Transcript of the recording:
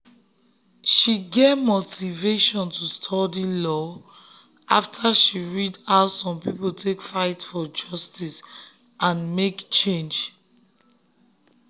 she get motivation to study study law um after she read how some people take fight for justice um and make change.